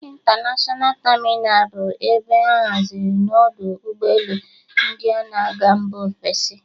Intanashọna tamịnal bụ ebe a hazịrị n'ọdụ ụgbọelu ndị na-aga Mbá ofesi.